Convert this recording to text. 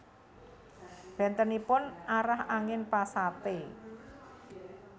Bentenipun arah angin Pasate